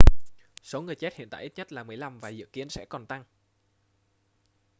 số người chết hiện tại ít nhất là 15 và dự kiến sẽ còn tăng